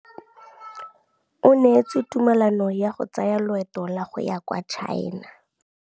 O neetswe tumalanô ya go tsaya loetô la go ya kwa China.